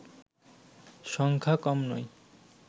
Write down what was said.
সংখ্যা কম নয়